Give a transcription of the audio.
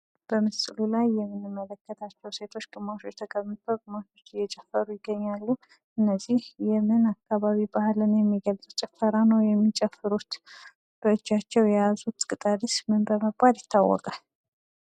በምስሉ ላይ የምንመለከታቸዉ ሴቶች ግማሾች ተቀምጠዉ ግማሾች እየጨፈሩ ይገኛሉ። እነዚህ የምን አካባቢ ጭፈሬ ነዉ የሚጨፍሩት በእጃቸዉ የያዙት ቅጠልስ ምን ይባላል?